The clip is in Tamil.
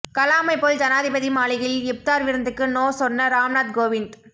கலாமை போல் ஜனாதிபதி மாளிகையில் இப்தார் விருந்துக்கு நோ சொன்ன ராம்நாத் கோவிந்த்